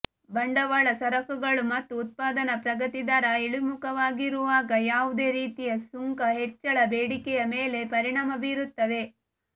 ಬಂಡವಾಳ ಸರಕುಗಳು ಮತ್ತು ಉತ್ಪಾದನಾ ಪ್ರಗತಿದರ ಇಳಿಮುಖವಾಗಿರುವಾಗ ಯಾವುದೇ ರೀತಿಯ ಸುಂಕ ಹೆಚ್ಚಳ ಬೇಡಿಕೆಯ ಮೇಲೆ ಪರಿಣಾಮ ಬೀರುತ್ತವೆ